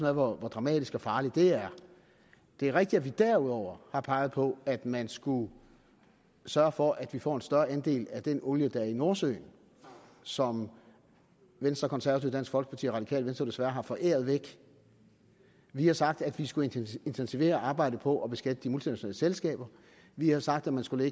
er hvor dramatisk og farligt det er det er rigtigt at vi derudover har peget på at man skulle sørge for at vi får en større andel af den olie der er i nordsøen som venstre konservative dansk folkeparti og radikale venstre jo desværre har foræret væk vi har sagt at vi skulle intensivere arbejdet på at beskatte de multinationale selskaber vi har sagt at man skulle